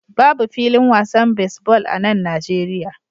Babu filin wasan baseball a nan Najeriya